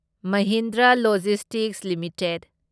Mahindra logistics limited